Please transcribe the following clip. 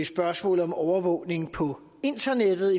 spørgsmålet om overvågning på internettet